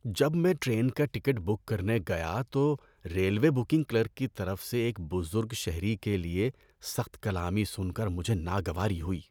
جب میں ٹرین کا ٹکٹ بک کرنے گیا تو ریلوے بکنگ کلرک کی طرف سے ایک بزرگ شہری کے لیے سخت کلامی سن کر مجھے ناگواری ہوئی۔